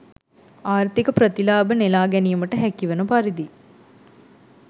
ආර්ථික ප්‍රතිලාභ නෙළා ගැනීමට හැකිවන පරිදි